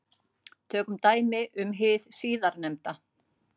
Tökum dæmi um hið síðarnefnda.